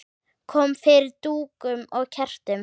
Kom fyrir dúkum og kertum.